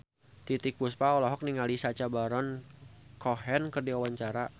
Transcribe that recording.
Titiek Puspa olohok ningali Sacha Baron Cohen keur diwawancara